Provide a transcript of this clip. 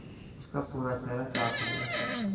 उसका पूरा चेहरा चाट लिया